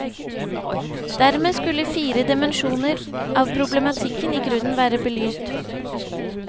Dermed skulle fire dimensjoner av problematikken i grunnen være belyst.